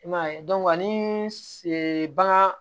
I m'a ye ani bagan